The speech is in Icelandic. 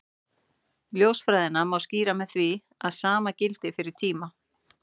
Ljósfræðina má skýra með því að sama gildi fyrir tíma.